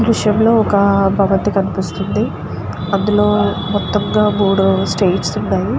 ఈ దృశ్యం లో ఒక భవంతి కనిపిస్తుంది అందులో మొత్తంగా మూడు స్టేర్స్ ఉన్నాయి.